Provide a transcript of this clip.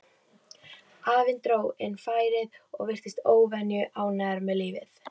Afinn dró inn færið og virtist óvenju ánægður með lífið.